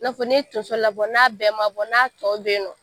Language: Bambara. I n'a fɔ n'i ye tonso labɔ n'a bɛɛ ma bɔ n'a tɔ bɛyinɔ.